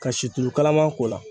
Ka situlu kalaman k'o la